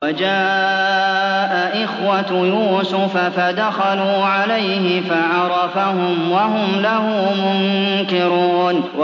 وَجَاءَ إِخْوَةُ يُوسُفَ فَدَخَلُوا عَلَيْهِ فَعَرَفَهُمْ وَهُمْ لَهُ مُنكِرُونَ